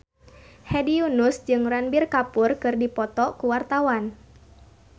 Hedi Yunus jeung Ranbir Kapoor keur dipoto ku wartawan